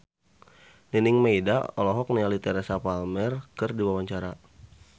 Nining Meida olohok ningali Teresa Palmer keur diwawancara